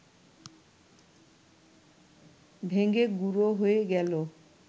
ভেঙে গুঁড়ো হয়ে গেল